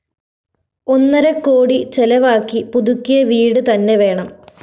ഒന്നരക്കോടി ചെലവാക്കി പുതുക്കിയ വീട് തന്നെ വേണം